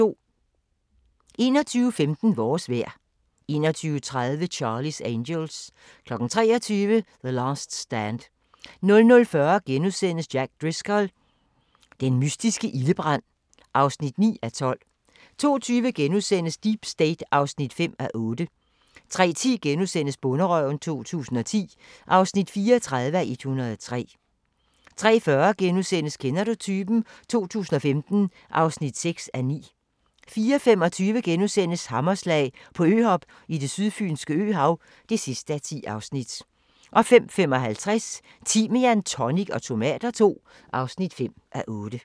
21:15: Vores vejr 21:30: Charlie's Angels 23:00: The Last Stand 00:40: Jack Driscoll – den mystiske ildebrand (9:12)* 02:20: Deep State (5:8)* 03:10: Bonderøven 2010 (34:103)* 03:40: Kender du typen? 2015 (6:9)* 04:25: Hammerslag - på øhop i det sydfynske øhav (10:10)* 05:55: Timian, tonic og tomater II (5:8)